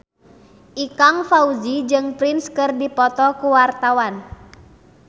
Ikang Fawzi jeung Prince keur dipoto ku wartawan